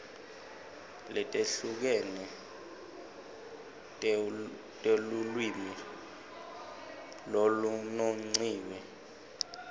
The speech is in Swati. letehlukene telulwimi lolunongiwe